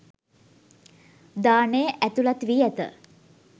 දානය ඇතුළත් වී ඇත.